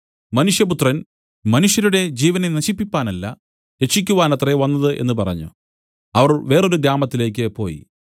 മനുഷ്യപുത്രൻ മനുഷ്യരുടെ ജീവനെ നശിപ്പിപ്പാനല്ല രക്ഷിയ്ക്കുവാനത്രേ വന്നത് എന്നു പറഞ്ഞു അവർ വേറൊരു ഗ്രാമത്തിലേക്ക് പോയി